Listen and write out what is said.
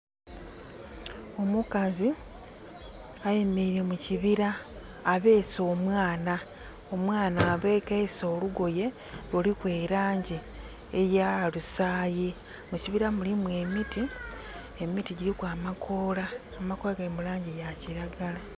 Omukazi ayemereire mukibira abese omwana, omwana abekeisa olugoye luliku elangi eya lusayi. Mukibira mulimu emiti, emiti giriku amakola. Amakoola gali mulangi ya kiragala.